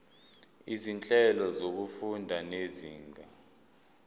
izinhlelo zokufunda zezinga